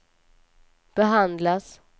behandlas